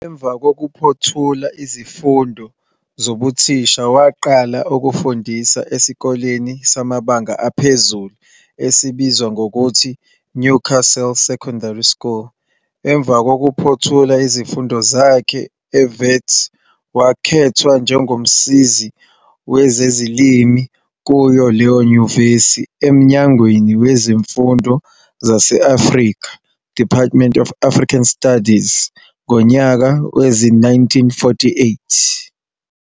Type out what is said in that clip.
Emva kokuphothula izifundo zobuthisha waqala ukufundisa esikoleni samabanga aphezulu esibizwa ngokuthi Newcastle Secondary School. Emva kokuphothula izifundo zakhe eWits wakhethwa njengomsizi wezeziLimi kuyo lenyuvesi emnyangweni weziFundo zase-Afrika, "Department of African Studies", ngonyaka wezi-1948.